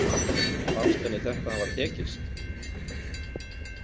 Fannst henni þetta hafa tekist?